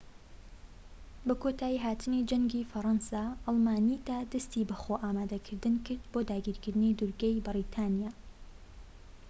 بە کۆتایی هاتنی جەنگی فەرەنسا ئەڵمانیتا دەستی بە خۆ ئامادەکردن کرد بۆ داگیرکردنی دوورگەی بەریتانیا